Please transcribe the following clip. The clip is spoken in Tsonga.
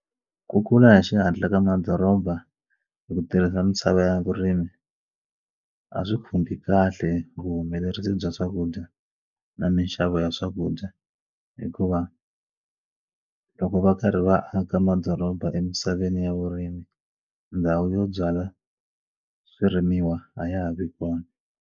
Ku kula hi xihatla ka madoroba hi ku tirhisa misava ya vurimi a swi khumbi kahle vuhumelerisi bya swakudya na mixavo ya swakudya hikuva loko va karhi va aka madoroba emisaveni ya vurimi ndhawu yo byala swirimiwa a ya ha vi kona.